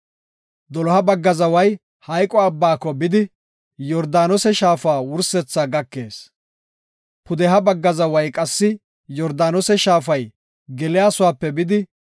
Doloha bagga zaway Maxine Abbaa bidi, Yordaanose shaafa wursethaa gakees. Pudeha bagga zaway qassi Yordaanose shaafay geliyasuwap bidi,